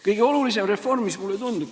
Kõige olulisem reform, mis mulle tundub ...